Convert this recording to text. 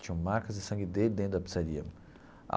Tinham marcas de sangue dele dentro da pizzaria.